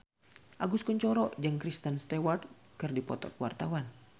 Agus Kuncoro jeung Kristen Stewart keur dipoto ku wartawan